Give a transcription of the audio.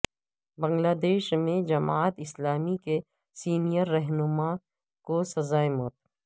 بنگلہ دیش میں جماعت اسلامی کے سینیئر رہنما کو سزائے موت